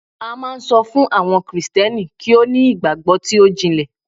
a ma n so fun àwọn Kristẹni kì wan ni igbagbo ti o jinle